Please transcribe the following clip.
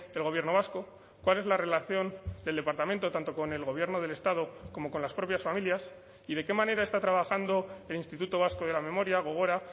el gobierno vasco cuál es la relación del departamento tanto con el gobierno del estado como con las propias familias y de qué manera está trabajando el instituto vasco de la memoria gogora